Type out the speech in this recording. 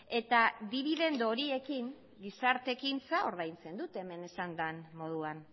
eta dibidendu horiekin gizarte ekintza ordaintzen dute hemen esan den moduan